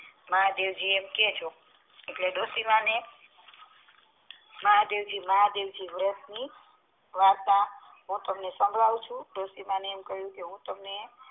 મહાદેવ જી એમ કી કે ડોસી માને મહાદેવજી મહાદેવજી વ્રત ની વાર્તા હું તમને સાંભળવું છું ડોસી મને એમ કહી હું તમને